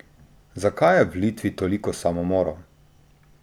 Zakaj je v Litvi toliko samomorov?